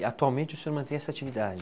E, atualmente, o senhor mantém essa atividade?